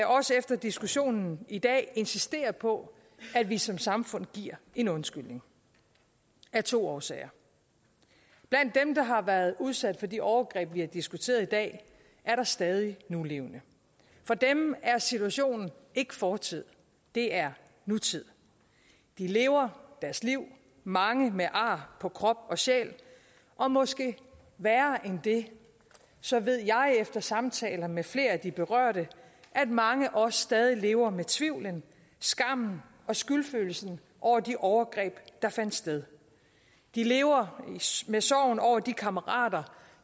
også efter diskussionen i dag insistere på at vi som samfund giver en undskyldning af to årsager blandt dem der har været udsat for de overgreb vi har diskuteret i dag er der stadig nulevende for dem er situationen ikke fortid det er nutid de lever deres liv mange med ar på krop og sjæl og måske værre end det så ved jeg efter samtaler med flere af de berørte at mange også stadig lever med tvivlen skammen og skyldfølelsen over de overgreb der fandt sted de lever med sorgen over de kammerater